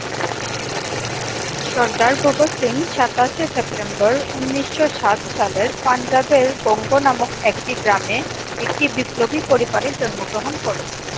সরদার ভগৎ সিং সাতাশে সেপ্টেম্বর উনিশশো সাত সালের পাঞ্জাবের বঙ্গ নামক একটি গ্রামে একটি বিপ্লবী পরিবারে জন্মগ্রহণ করেন।